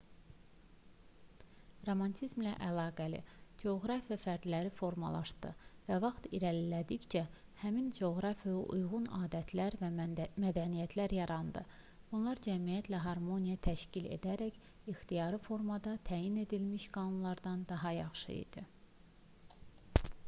romantizmlə əlaqəli coğrafiya fərdləri formalaşdırdı və vaxt irəlilədikcə həmin coğrafiyaya uyğun adətlər və mədəniyyətlər yarandı bunlar cəmiyyətlə harmoniya təşkil edərək ixtiyari formada təyin edilmiş qanunlardan daha yaxşı idi